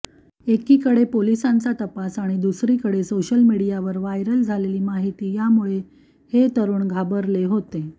एकीकडे पोलिसांचा तपास आणि दुसरीकडे सोशल मीडियावर व्हायरल झालेली माहिती यामुळे हे तरुण घाबरले होते